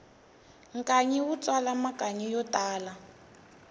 nkanyi wu tswala makanyi yo tala